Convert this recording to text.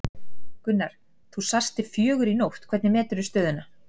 Gunnar þú sast til fjögur í nótt, hvernig metur þú stöðuna?